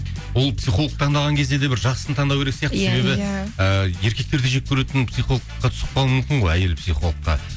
ол психолог таңдаған кезде де бір жақсысын таңдау кере сияқты і еркектерді жеккөретін психологқа түсіп қалуы мүмкін ғой әйел психологқа